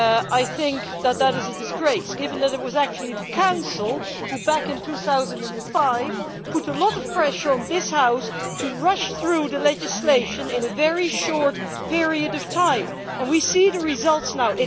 I think that this is a disgrace, given that it was actually the Council who back in 2005 put a lot of pressure on this House to rush through the legislation in a very short period of time. And we see the results now.